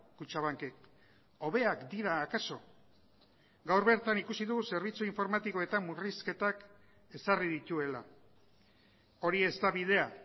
kutxabankek hobeak dira akaso gaur bertan ikusi dugu zerbitzu informatikoetan murrizketak ezarri dituela hori ez da bidea